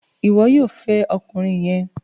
Ìwo yóò fè ọkùnrin yén!